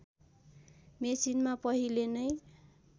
मेसिनमा पहिले नै